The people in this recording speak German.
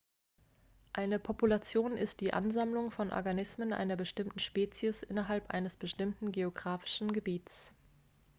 eine population ist die ansammlung von organismen einer bestimmten spezies innerhalb eines bestimmten geografischen gebiets